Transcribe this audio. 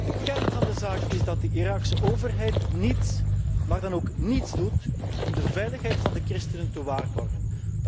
De kern van de zaak is dat de Iraakse overheid niets, maar dan ook niets doet om de veiligheid van de christenen te waarborgen.